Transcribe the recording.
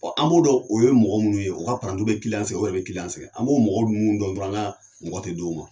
An b'o dɔn o ye mɔgɔ minnu ye, o ka paranti bɛ kiliyan bɛ sɛgɛ o yɛrɛ bɛ kiliyan bɛ sɛgɛ. An b'o mɔgɔw ninnu dɔn dɔrɔn an ka mɔgɔ tɛ d'u ma.